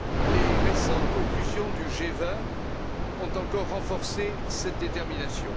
Les récentes conclusions du G20 ont encore renforcé cette détermination.